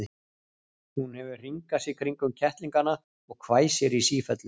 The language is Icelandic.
Hún hefur hringað sig kringum kettlingana og hvæsir í sífellu.